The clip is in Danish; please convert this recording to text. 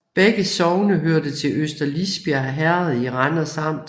Begge sogne hørte til Øster Lisbjerg Herred i Randers Amt